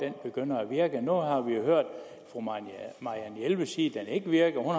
den begynder at virke nu har vi hørt fru marianne jelved sige at den ikke virker og